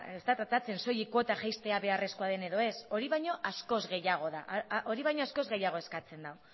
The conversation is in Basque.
ez da tratatzen soilik kuota jaistea beharrezkoa den ala ez hori baino askoz gehiago eskatze da